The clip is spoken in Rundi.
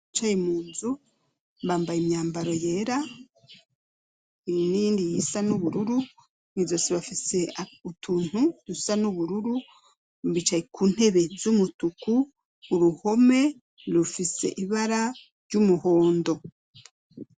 Abicaye munzu bambaye imyambaro yera, n'iyindi isa n'ubururu, mw'izosi bafise utuntu dusa n'ubururu ,bicaye ku ntebe z'umutuku, uruhome rufise ibara ry'umuhondo.